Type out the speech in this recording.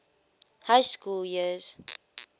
high school years